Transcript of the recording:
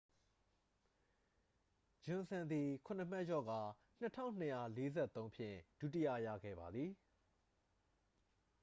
ဂျွန်စန် သည် ခုနစ်မှတ်လျော့ကာ 2,243 ဖြင့် ဒုတိယရခဲ့ပါသည်